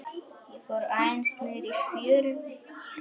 Ég fór aðeins niðrí fjöru.